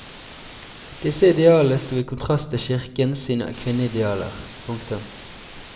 Disse idealene stod i kontrast til kirken sine kvinneidealer. punktum